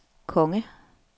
konge